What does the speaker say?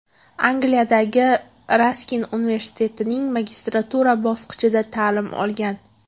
Angliyadagi Raskin universitetining magistratura bosqichida ta’lim olgan.